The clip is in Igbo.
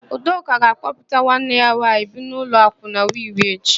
Udoka ga-aga ịkpọpụta nwanne ya nwaanyị bi n'ụlọ akwụna Wi-Wi echi.